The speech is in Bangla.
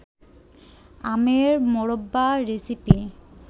আমের মোরব্বা রেসিপি